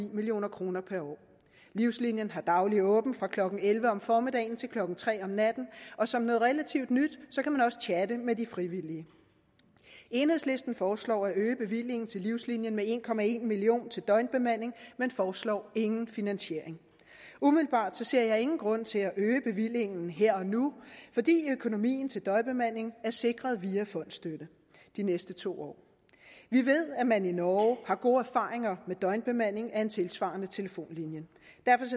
million kroner per år livslinien har dagligt åben fra klokken elleve om formiddagen til klokken nul tre om natten og som noget relativt nyt kan man også chatte med de frivillige enhedslisten foreslår at øge bevillingen til livslinien med en million kroner til døgnbemanding men foreslår ingen finansiering umiddelbart ser jeg ingen grund til at øge bevillingen her og nu fordi økonomien til døgnbemanding er sikret via fondsstøtte de næste to år vi ved at man i norge har gode erfaringer med døgnbemanding af en tilsvarende telefonlinje